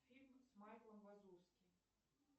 фильмы с майклом вазовским